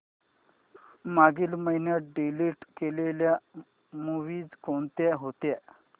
मागील महिन्यात डिलीट केलेल्या मूवीझ कोणत्या होत्या